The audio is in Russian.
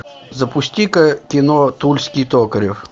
запусти ка кино тульский токарев